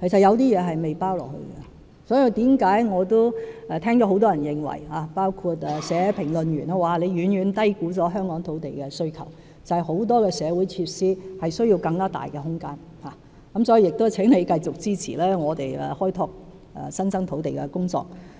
其實並未包括一些考慮。所以我聽到很多人——包括評論員——指出，政府遠遠低估了香港土地需求，正是因為很多社會設施需要更大空間。因此，請張議員繼續支持政府開拓新增土地的工作。